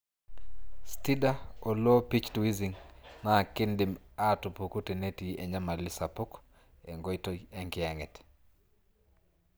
Stridor o low pitched wheezing na kindim atupuku tenetii enyamali sapu engoitoi enkiyanget.